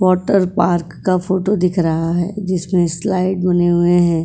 Water park का photo दिख रहा है जिसमें स्लाइड बने हुए हैं।